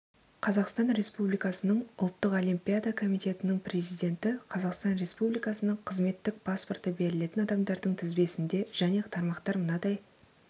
қазақстан республикасының ұлттық олимпиада комитетінің президенті қазақстан республикасының қызметтік паспорты берілетін адамдардың тізбесінде және тармақтар мынадай